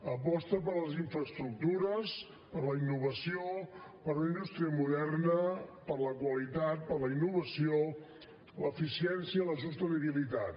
aposta per les infraestructures per la innovació per una indústria moderna per la qualitat per la innovació l’eficiència i la sostenibilitat